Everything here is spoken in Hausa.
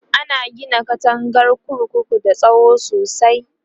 ana Gina katangar kurkuku da tsawo sosai